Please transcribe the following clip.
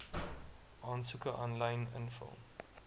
aansoeke aanlyn invul